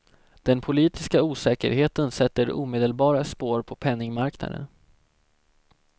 Den politiska osäkerheten sätter omedelbara spår på penningmarknaden.